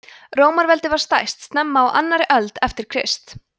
rómaveldi var stærst snemma á annarri öld eftir krist